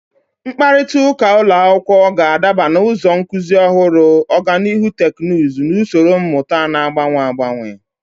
Mkparịta ụka ụlọ akwụkwọ ga-adaba na ụzọ nkuzi ọhụrụ, ọganihu teknụzụ, na usoro mmụta na-agbanwe agbanwe